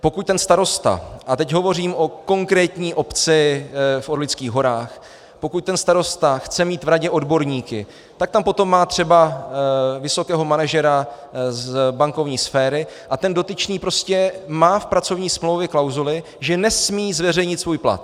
Pokud ten starosta, a teď hovořím o konkrétní obci v Orlických horách, pokud ten starosta chce mít v radě odborníky, tak tam potom má třeba vysokého manažera z bankovní sféry, a ten dotyčný prostě má v pracovní smlouvě klauzuli, že nesmí zveřejnit svůj plat.